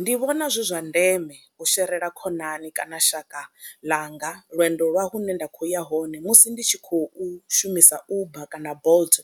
Ndi vhona zwi zwa ndeme u sherela khonani kana shaka ḽanga lwendo lwa hune nda khou ya hone musi ndi tshi khou shumisa Uber kana Bolt